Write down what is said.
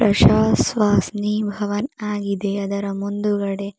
ಪ್ರಶಾಸ್ ವಾಸ್ನಿ ಭವನ್ ಆಗಿದೆ ಅದರ ಮುಂದುಗಡೆ--